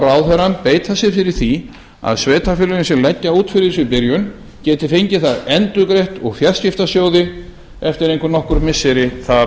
ráðherrann beita sér fyrir því að sveitarfélögin sem leggja út fyrir þessu í byrjun geti fengið það endurgreitt úr fjarskiptasjóði eftir einhver nokkur missiri þar